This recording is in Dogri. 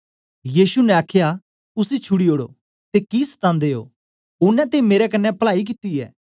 यीशु ने आखया उसी छुड़ी ओड़ो ते कि सतानदे ओ ओनें ते मेरे कन्ने पलाई कित्ती ऐ